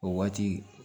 O waati